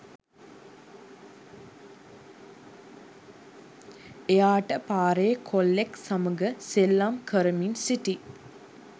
එයාට පාරේ කොල්ලෙක් සමග සෙල්ලම් කරමින් සිටි